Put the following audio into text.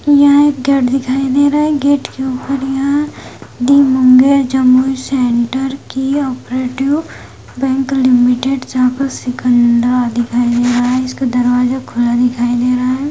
यहां एक गेट दिखाई दे रहा है गेट के ऊपर यहां दी मुंगेर जमुई सेंटर की आपरेटिव बैंक लिमिटेड शाखा- सिकंदरा दिखाई दे रहा है इसका दरवाजा खुला दिखाई दे रहा है।